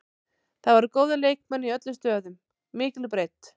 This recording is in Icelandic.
Það voru góðir leikmenn í öllum stöðum, mikil breidd.